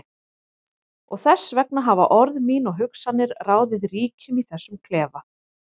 Og þess vegna hafa orð mín og hugsanir ráðið ríkjum í þessum klefa.